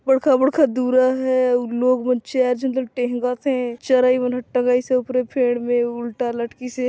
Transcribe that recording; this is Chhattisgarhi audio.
उबड़ खाबड़ खदुरा हे अउ लोग मन चर्च अंदर टेहंगत हे चरइ मन टगिइस हे ऊपरे पेड़ में उल्टा लटकिस हे।